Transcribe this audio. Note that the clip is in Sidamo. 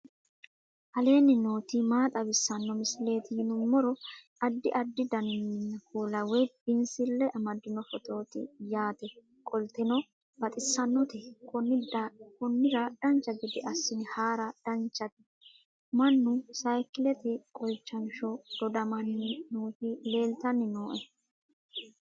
aleenni nooti maa xawisanno misileeti yinummoro addi addi dananna kuula woy biinsille amaddino footooti yaate qoltenno baxissannote konnira dancha gede assine haara danchate mannu saykilete qolchanshsho dodamanni nooti leeltanni nooe